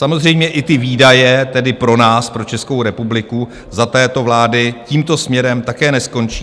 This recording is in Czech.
Samozřejmě i ty výdaje, tedy pro nás, pro Českou republiku, za této vlády tímto směrem také neskončí.